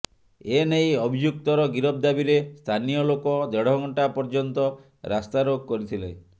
ଏନେଇ ଅଭିଯୁକ୍ତର ଗିରଫ ଦାବିରେ ସ୍ଥାନୀୟଲୋକ ଦେଢ଼ଘଣ୍ଟା ପର୍ୟ୍ୟନ୍ତ ରାସ୍ତାରୋକ କରିଥିଲେ